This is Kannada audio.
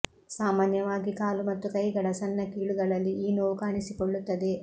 ಸಾಮಾನ್ಯವಾಗಿ ಕಾಲು ಮತ್ತು ಕೈಗಳ ಸಣ್ಣ ಕೀಲುಗಳಲ್ಲಿ ಈ ನೋವು ಕಾಣಿಸಿಕೊಳ್ಳುತ್ತದೆ